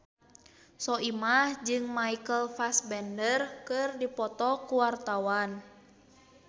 Soimah jeung Michael Fassbender keur dipoto ku wartawan